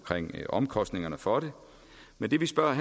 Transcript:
omkostningerne for det men det vi spørger